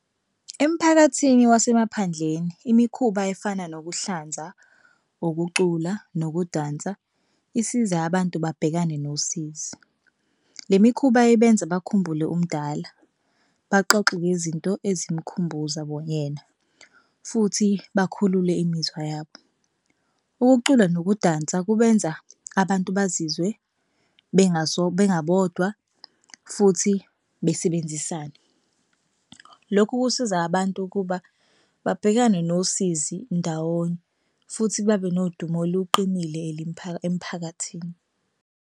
Emphakathini wasemaphandleni imikhuba efana nokuhlanza, ukucula, nokudansa isiza abantu babhekane nosizi. Le mikhuba ibenza bakhumbule umdala, baxoxe ngezinto ezimkhumbuza yena futhi bakhulule imizwa yabo. Ukucula nokudansa kubenza abantu bazizwe bengabodwa futhi besebenzisane. Lokhu kusiza abantu ukuba babhekane nosizi ndawonye futhi babe nodumo oluqinile emphakathini.